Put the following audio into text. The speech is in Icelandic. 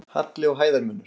Halli og hæðarmunur.